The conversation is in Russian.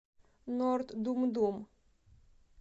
норд думдум